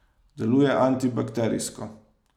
Deluje antibakterijsko.